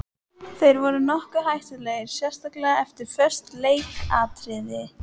Þeir voru nokkuð hættulegir sérstaklega eftir föst leikatriði.